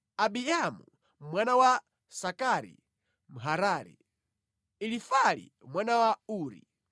Ahiamu mwana wa Sakari Mharari, Elifali mwana wa Uri,